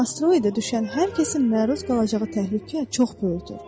Amma asteroide düşən hər kəsin məruz qalacağı təhlükə çox böyükdür.